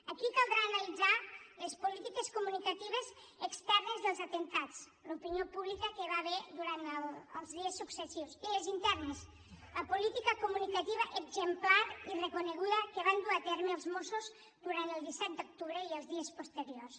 aquí caldrà analitzar les polítiques comunicatives externes dels atemptats l’opinió pública que hi va haver durant els dies successius i les internes la política comunicativa exemplar i reconeguda que van dur a terme els mossos durant el disset d’agost i els dies posteriors